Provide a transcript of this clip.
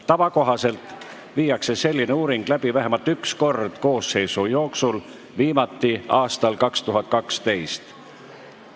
Tava kohaselt toimub selline uuring vähemalt üks kord koosseisu jooksul, viimati aastal 2012.